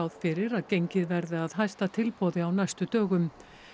fyrir að gengið verði að hæsta tilboði á næstu dögum